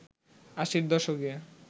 আশির দশকে